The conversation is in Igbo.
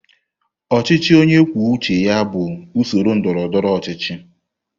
Ọchịchị onye kwuo uche ya bụ usoro ndọrọ ndọrọ ọchịchị.